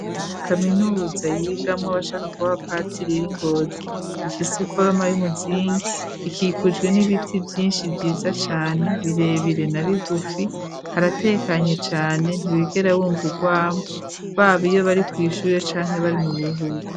Kaminuza yigamo abashaka kuba ba patiriri yi Ngozi ifise iforoma y'umuzingi. ikikujwe n'ibiti vyinshi vyiza cane birebire na bigufi haratekanye cane ntiwigera bumvugwamo babo iyo bari ku ishure canke bari mu buruhuko.